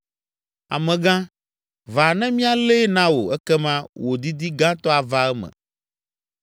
Amegã, va ne míalée na wò ekema wò didi gãtɔ ava eme!”